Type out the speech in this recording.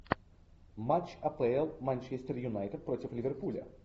матч апл манчестер юнайтед против ливерпуля